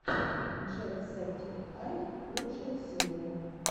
джек септик ай лучшая серия